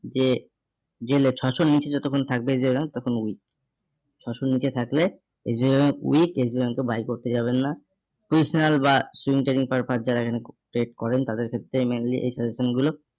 যে যে ছশোর নিচে যতক্ষণ থাকবে তখন weakSBI bank তখন ওই ছশোর নিচে থাকলে SBI bankweakSBIbankbuy করতে যাবেন না। positional বা swim training purpose যারা এখানে trade করেন তাদের ক্ষেত্রে mainly এই suggestion গুলো